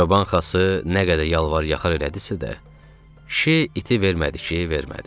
Çoban Xası nə qədər yalvar-yaxar elədisə də, kişi iti vermədi ki, vermədi.